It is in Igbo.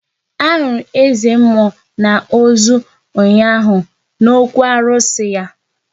Ahụrụ eze mmụọ na ozu ụnyaahụ n'okwu arụsị ya